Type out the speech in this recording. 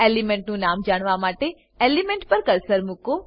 એલીમેંટનું નામ જાણવા માટે એલીમેંટ પર કર્સર મુકો